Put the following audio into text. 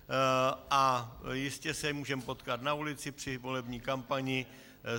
A jistě se můžeme potkat na ulici při volební kampani.